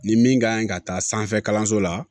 Ni min ka ɲi ka taa sanfɛ kalanso la